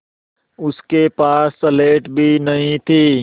उसके पास स्लेट भी नहीं थी